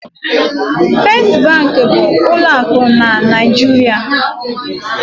First bank bụ ụlọ akụ na Naịjirịa.